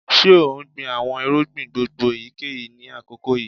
Ṣe o n gbin awọn irugbin gbongbo eyikeyi ni akoko yii?